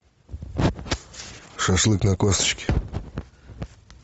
шашлык на косточке